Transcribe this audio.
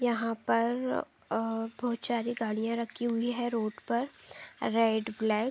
यहाँ पर अ बहोत सारी गाड़ियाँ रखी हुई है रोड पर रेड ब्लैक ।